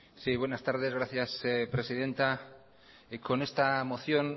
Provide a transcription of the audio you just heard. buenas tardes gracias presidenta con esta moción